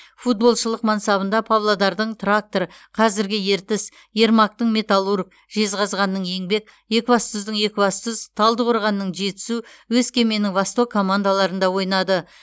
футболшылық мансабында павлодардың трактор қазіргі ертіс ермактың металлург жеззғазғанның еңбек екібастұздың екібастұз талдықорғанның жетісу өскеменнің восток командаларында ойнады